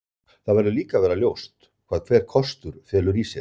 Það verður líka að vera ljóst hvað hver kostur felur í sér.